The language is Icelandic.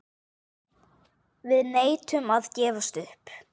Við neitum að gefast upp.